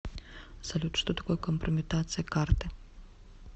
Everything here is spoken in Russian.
салют что такое компрометация карты